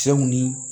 Cɛw ni